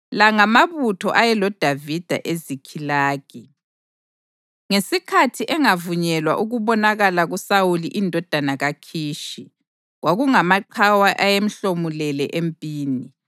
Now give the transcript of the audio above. La ngamabutho ayeloDavida eZikhilagi, ngesikhathi engavunyelwa ukubonakala kuSawuli indodana kaKhishi (kwakungamaqhawe ayemhlomulele empini;